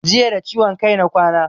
Jiya da ciwon kai na kwana